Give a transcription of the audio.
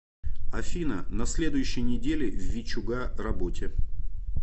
афина на следующей неделе в вичуга работе